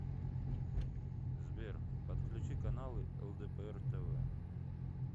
сбер подключи каналы лдпр тв